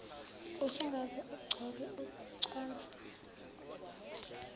usungaze ugqoke uconse